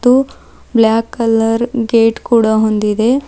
ಗೂ black colour gate ಕೂಡ ಹೊಂದಿದೆ.